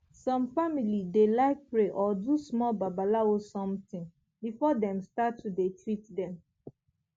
some family dey like pray or do small babalawo somtin before dem start to dey treat dem